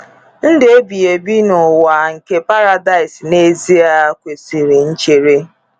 Ndụ ebighi n'ụwa nke Paradise — n’ezie, kwesịrị nchere.